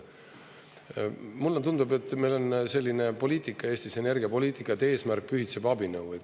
Mulle tundub, et meil on selline poliitika Eestis, energiapoliitika, et eesmärk pühitseb abinõu.